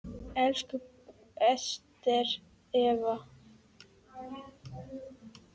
Elsku Ester Eva.